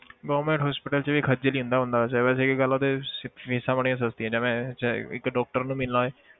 Government hospital 'ਚ ਵੀ ਖੱਝਲ ਹੀ ਹੁੰਦਾ ਬੰਦਾ ਵੈਸੇ, ਬਸ ਇੱਕ ਗੱਲ ਆ ਉੱਥੇ ਸ~ ਫ਼ੀਸਾਂ ਬੜੀਆਂ ਸਸਤੀਆਂ ਜਿਵੇਂ ਜੇ ਇੱਕ doctor ਨੂੰ ਮਿਲਣਾ ਹੋਏ